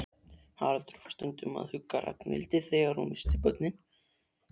Haraldur var stundum að hugga Ragnhildi þegar hún missti börnin.